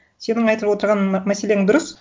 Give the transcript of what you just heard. сенің айтып отырған мәселең дұрыс